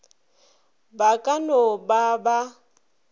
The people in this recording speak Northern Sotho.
ba ka no ba ba